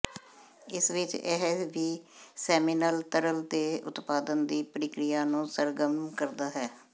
ਇਸ ਵਿਚ ਇਹ ਵੀ ਸੈਮੀਨਲ ਤਰਲ ਦੇ ਉਤਪਾਦਨ ਦੀ ਪ੍ਰਕਿਰਿਆ ਨੂੰ ਸਰਗਰਮ ਕਰਦਾ ਹੈ